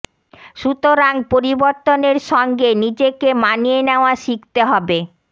সুতরাং পরিবর্তনের সঙ্গে নিজেক মানিয়ে নেওয়া শিখতে হবে